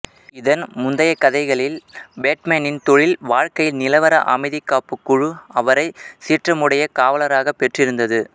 இதன் முந்தைய கதைகளில் பேட்மேனின் தொழில் வாழ்க்கையில் நிலவர அமைதிக் காப்புக் குழு அவரை சீற்றமுடைய காவலராக பெற்றிருந்தது